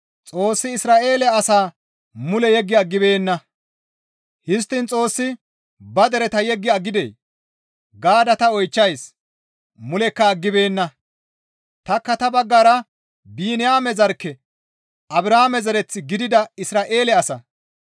Histtiin Xoossi ba dereta yeggi aggidee? Gaada ta oychchays; mulekka aggibeenna; tanikka ta baggara Biniyaame zarkke, Abrahaame zereth gidida Isra7eele asa.